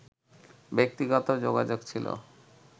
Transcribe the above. ব্যক্তিগত যোগাযোগ ছিল